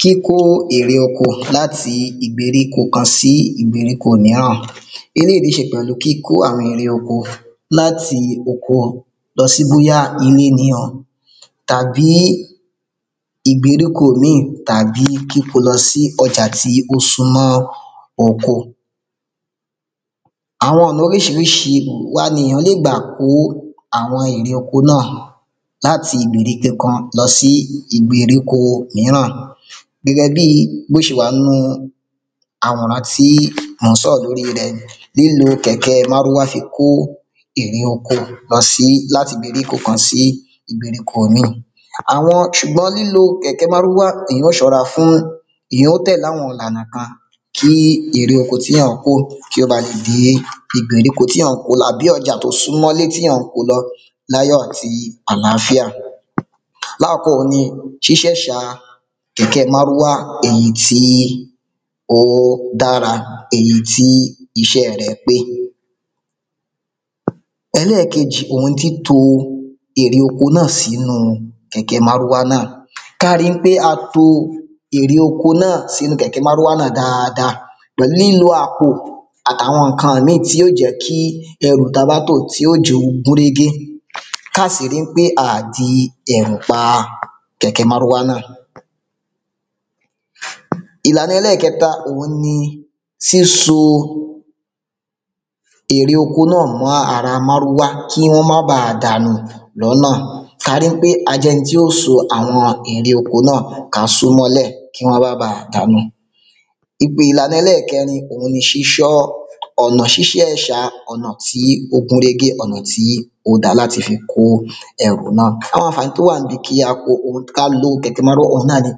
Kíkó ère oko láti ìgbèríko kan sí ìgbèríko míràn eléyí ní ṣe pẹ̀lú kíkó àwọn ère oko láti oko lọ sí bóyá ilé míràn tàbí ìgbèríko míì tàbí kíko lọ sí ọjà ti ó súnmọ oko àwọn ọ̀nà oríṣiríṣi wa ní èyàn lè gbà kó àwọn ère oko náà láti ìgbèríko kan lọ sí ìgbèríko míràn gẹ́gẹ́ bí bó ṣe wà nu àwòrán tí mọ̀ ń sọ̀rọ̀ lórí rẹ̀ lílo kèké márúwá fi kó ère oko láti ìgbèríko kan sí ìgbèríko míì ṣùgbọ́n lílo kẹ̀kẹ́ márúwá èyán ó ṣóra fún èyàn ó tẹ̀le àwọn ìlànà kan kí ère oko tíyàn kó kí ó balẹ̀ dé ìgbèríko tíyàn ń ko lọ àbí ọjá tó súnmọ́ tíyàn ko lọ láyọ̀ àti àláfíà lákọ́kọ́ òun ni ṣíṣẹ́wà kẹ̀kẹ́ márúwá èyí tí èyí tí ó dára èyí tí iṣẹ̀ rẹ̀ pé ẹlẹ́kejì òun ni títo ère oko náà sínu kẹ̀kẹ́ márúwá náà ká rí ń pé a to ère oko náà sínu kẹ̀kẹ́ márúwá náà dáada pẹ̀lú lilo àpò àti àwọn ǹkan mí tí ó jẹ́ kí ẹrú ta bá tò tí ó jẹ́ ó gúnrégé káa sì eí ń pé à o di ẹ̀rù pa kẹ̀kẹ́ márúwá náà ìlànà ẹlẹ́kẹta òun ni síso ère oko náà mọ́ ara márúwá kí wọ́n má ba dànù lónà ka rí ń pé a jẹ́ ẹni tó so àwọn ère oko náà ka só mọ́lẹ̀ kí wọ́n má ba dànù ìpè ìlànà ẹlẹ́kẹrin òun ni ṣíṣọ́ ọ̀nà ṣíṣẹ̀ṣà ọ̀nà tí ó gúnrégé ọ̀nà tí ó da láti fi kó ẹrù náà àwọn àǹfàní tó wà níbi kí á kó ka lo kẹ̀kẹ́ márúwá òun náà ni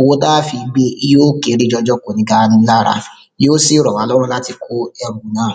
owó tá fi gbe yí ó kéré jọjọ kò ní gà ni lára yí ó sì rọ̀wá lọ́rùn láti kó ẹrù náà